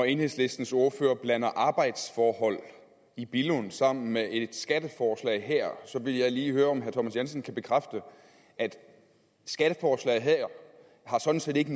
enhedslistens ordfører blander arbejdsforhold i billund sammen med et skatteforslag her vil jeg lige høre om herre thomas jensen kan bekræfte at skatteforslaget her sådan set ikke